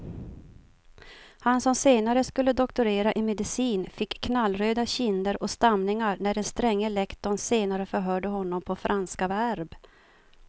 Han som senare skulle doktorera i medicin fick knallröda kinder och stamningar när den stränge lektorn senare förhörde honom på franska verb.